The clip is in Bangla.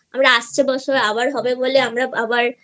আমরা আসছে বছর আবার হবে বলে আবার